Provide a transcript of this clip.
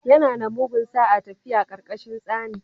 Yana da mugun sa'a tafiya ƙarƙashin tsani